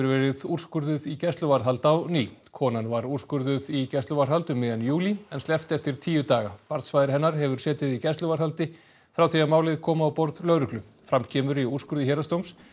verið úrskurðuð í gæsluvarðhald á ný konan var úrskurðuð í gæsluvarðhald um miðjan júlí en sleppt eftir tíu daga barnsfaðir hennar hefur setið í gæsluvarðhaldi frá því að málið kom á borð lögreglu fram kemur í úrskurði héraðsdóms